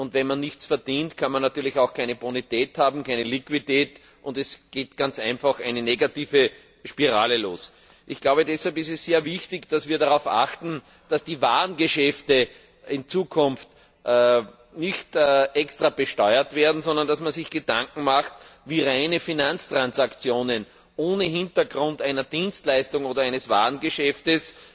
Wenn man nichts verdient, kann man natürlich auch keine Bonität und keine Liquidität haben, und da beginnt ganz einfach eine negative Spirale. Deshalb ist es sehr wichtig, dass wir darauf achten, dass die Warengeschäfte in Zukunft nicht extra besteuert werden, sondern dass man sich Gedanken macht, wie bei reinen Finanztransaktionen ohne Hintergrund einer Dienstleistung oder eines Warngeschäftes